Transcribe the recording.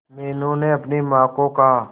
मीनू ने अपनी मां को कहा